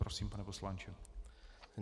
Prosím, pane poslanče.